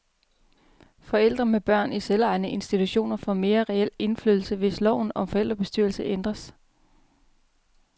Forældre med børn i selvejende institutioner får mere reel indflydelse, hvis loven om forældrebestyrelser ændres.